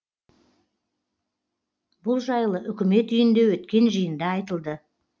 бұл жайлы үкімет үйінде өткен жиында айтылды